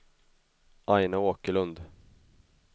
Aina Åkerlund